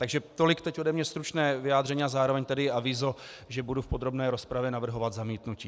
Takže tolik teď ode mne stručné vyjádření a zároveň tedy avízo, že budu v podrobné rozpravě navrhovat zamítnutí.